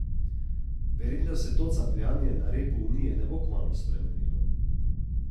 Verjetno se to capljanje na repu Unije ne bo kmalu spremenilo.